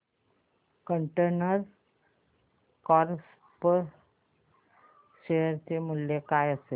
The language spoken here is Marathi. कंटेनर कॉर्प शेअर चे मूल्य काय असेल